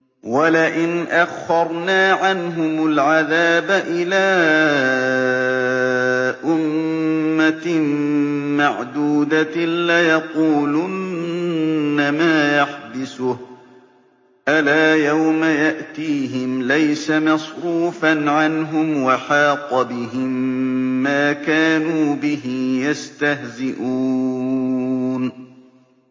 وَلَئِنْ أَخَّرْنَا عَنْهُمُ الْعَذَابَ إِلَىٰ أُمَّةٍ مَّعْدُودَةٍ لَّيَقُولُنَّ مَا يَحْبِسُهُ ۗ أَلَا يَوْمَ يَأْتِيهِمْ لَيْسَ مَصْرُوفًا عَنْهُمْ وَحَاقَ بِهِم مَّا كَانُوا بِهِ يَسْتَهْزِئُونَ